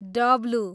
W